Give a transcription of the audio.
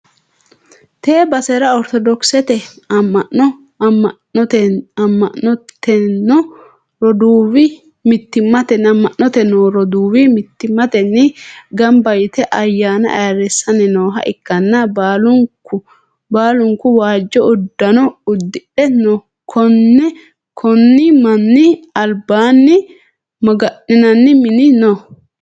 tee basera oritodokisete amma'no amma'nitino roduuwi mittimmatenni gamba yite ayyaana ayyrsanni nooha ikkanna, baalunku waajjo uddano uddidhe no, konni manni albaanni maga'ninanni mini no.